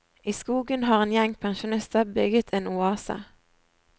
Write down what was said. I skogen har en gjeng pensjonister bygget en oase.